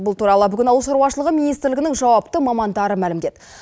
бұл туралы бүгін ауыл шаруашылығы министрлігінің жауапты мамандары мәлімдеді